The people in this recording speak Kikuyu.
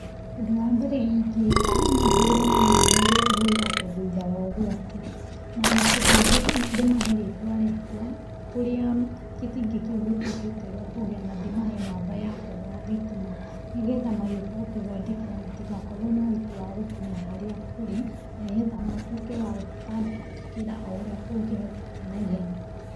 Ũndũ wa mbere ingĩka no hũre namba ĩrĩa ĩhũragwo thutha wa ũgwati na ũndũ ũngĩ ndĩmahe rĩtwa riakwa, kũrĩa gĩtingĩ kĩu gĩtuĩkĩte gĩa kũgĩa na ndĩmahe namba yakwa ya thitima nĩgetha magĩũka gũtũthondekera matigakorwo na ũritũ wa gũkinya harĩa tũrĩ na nĩ getha matuĩke wa gũtũtangĩkĩra o ũrĩa kũngĩhotekeka na ihenya.